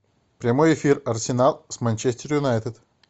прямой эфир арсенал с манчестер юнайтед